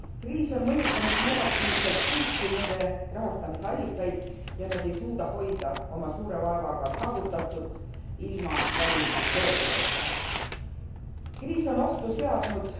Kriis on mõjutanud negatiivselt kõiki nende rahastamisallikaid ja nad ei suuda hoida oma suure vaevaga saavutatut ilma välistoetuseta. Kriis on ohtu seadnud